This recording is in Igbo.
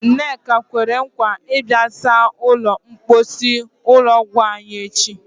Nneka kwere nkwa ịbịa saa ụlọ mposi ụlọ ọgwụ anyị echi.